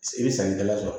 I bɛ sannikɛla sɔrɔ